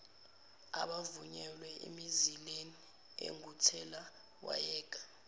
abavunyelwe emizileni enguthelawayeka